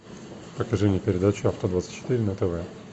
покажи мне передачу авто двадцать четыре на тв